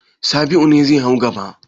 Sabi'u ne zai hau gada.